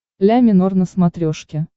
ля минор на смотрешке